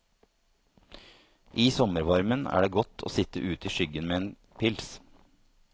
I sommervarmen er det godt å sitt ute i skyggen med en pils.